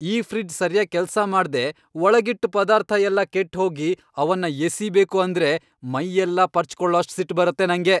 ಈ ಫ್ರಿಡ್ಜ್ ಸರ್ಯಾಗ್ ಕೆಲ್ಸ ಮಾಡ್ದೇ ಒಳಗಿಟ್ಟ್ ಪದಾರ್ಥ ಎಲ್ಲ ಕೆಟ್ಟ್ಹೋಗಿ ಅವನ್ನ ಎಸೀಬೇಕು ಅಂದ್ರೆ ಮೈಯೆಲ್ಲ ಪರ್ಚ್ಕೊಳೋಷ್ಟ್ ಸಿಟ್ಟ್ ಬರತ್ತೆ ನಂಗೆ.